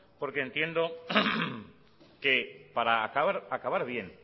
porque entiendo que para acabar bien